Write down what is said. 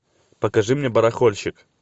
покажи мне барахольщик